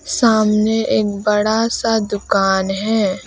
सामने एक बड़ा सा दुकान है।